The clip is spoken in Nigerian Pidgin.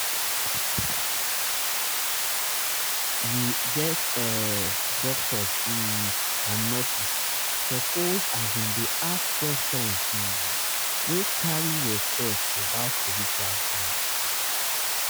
you get ehh doctors um and nurses suppose asin dey ask questions um wey carry respect about spiritual needs.